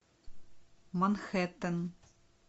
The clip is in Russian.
манхэттен